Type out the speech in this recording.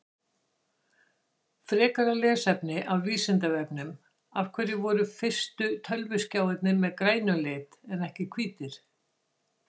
Frekara lesefni af Vísindavefnum Af hverju voru fyrstu tölvuskjáirnir með grænum lit en ekki hvítir?